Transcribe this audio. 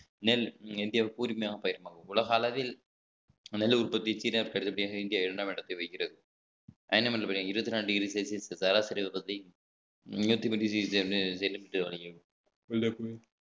நெல் இந்தியாவுக்கு கூர்மையான உலக அளவில் நெல் உற்பத்தி சீனாக்கு அடுத்தபடியாக இந்தியா இரண்டாம் இடத்தை வகிக்கிறது இருபத்தி நாலு degree celsius